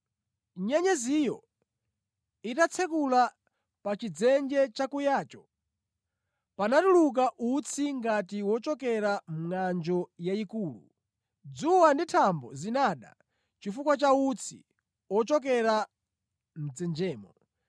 Nyenyeziyo itatsekula pa chidzenje chakuyacho panatuluka utsi ngati wochokera mʼngʼanjo yayikulu. Dzuwa ndi thambo zinada chifukwa cha utsi ochokera mʼdzenjemo.